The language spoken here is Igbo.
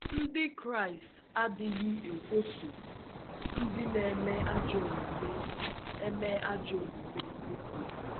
Ndị Kraịst adịghị ‘ ekwoso ndị na - eme ajọ omume eme ajọ omume ekworo ’